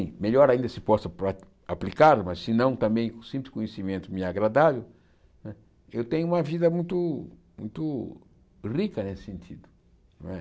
E melhor ainda se posso pra aplicá-lo, mas se não, também, o simples conhecimento me é agradável, eu tenho uma vida muito muito rica nesse sentido. Né